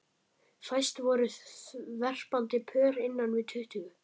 Fæst voru verpandi pör innan við tuttugu.